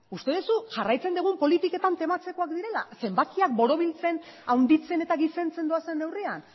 uste duzu jarraitzen dugun politiketan tematzekoak direla zenbakiak borobiltzen handitzen eta gizentzen doazen neurrian